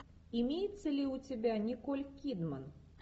имеется ли у тебя николь кидман